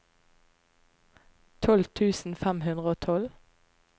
tolv tusen fem hundre og tolv